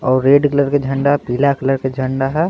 और red colour के झंडा पीला कलर के झंडा है।